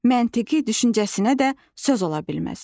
Məntiqi düşüncəsinə də söz ola bilməz.